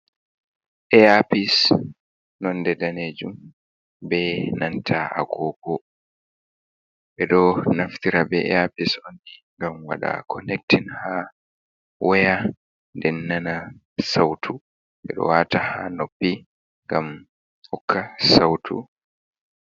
Aapis nonde danejum ɓenanta a gogo ɓeɗo naftira be aapis onni ngam waɗa connectin ha weya den nana sautu ɓeɗo wata ha noppi ngam hokka sautu.